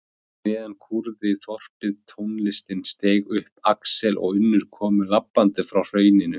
Fyrir neðan kúrði þorpið, tónlistin steig upp, Axel og Unnur komu labbandi frá hrauninu.